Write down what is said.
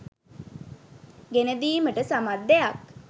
ගෙනදීමට සමත් දෙයක්.